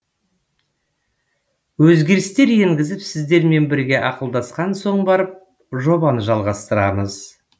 өзгерістер енгізіп сіздермен бірге ақылдасқан соң барып жобаны жалғастырамыз